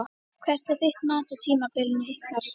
Hvert er þitt mat á tímabilinu ykkar?